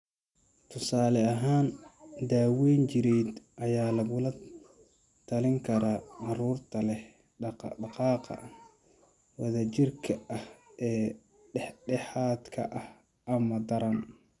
Tusaale ahaan, daawayn jireed ayaa lagula talin karaa carruurta leh dhaqdhaqaaqa wadajirka ah ee dhexdhexaadka ah ama daran.